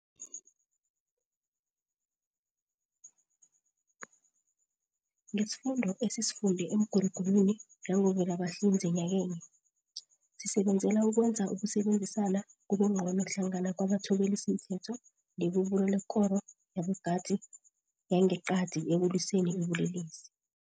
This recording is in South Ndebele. Ngesifundo esisifunde emigurugurwini yangoVelabahlinze nyakenye, sisebenzela ukwenza ukusebenzisana kube ngcono hlangana kwabathobelisimthetho nebubulo lekoro yabogadi yangeqadi ekulwiseni ubulelesi.